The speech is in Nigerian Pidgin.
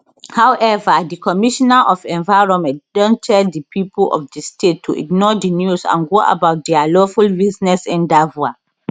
however di commissioner of environment don tell di pipo of di state to ignore di news and go about dia lawful business endeavour